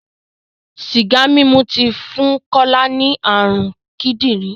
Sìgá mímu ti fún Kọ́lá ní ààrùn kídìrí.